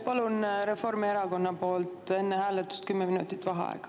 Palun Reformierakonna nimel enne hääletust kümme minutit vaheaega.